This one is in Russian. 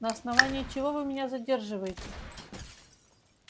на основании чего вы меня задерживаете